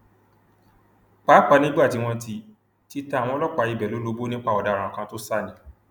pàápàá nígbà tí wọn ti ti ta àwọn ọlọpàá ibẹ lólobó nípa ọdaràn kan tó sá ni